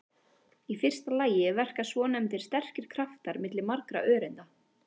Í fyrsta lagi verka svonefndir sterkir kraftar milli margra öreinda.